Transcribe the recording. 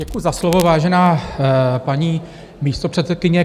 Děkuji za slovo, vážená paní místopředsedkyně.